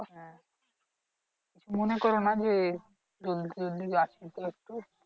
কিছু মনে করো না যে জলদি জলদি রাখি তো একটু